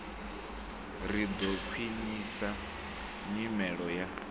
ri ḓo khwiṋisa nyimelo ya